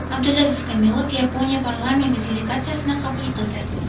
Abdulaziz Kamilov Yaponiya parlamenti delegatsiyasini qabul qildi.